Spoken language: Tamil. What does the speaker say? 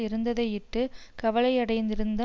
இருந்ததையிட்டு கவலையடைந்திருந்த